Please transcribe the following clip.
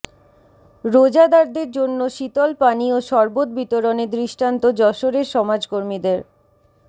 রোজাদারদের জন্য শীতল পানি ও শরবত বিতরণে দৃষ্টান্ত যশোরের সমাজকর্মীদের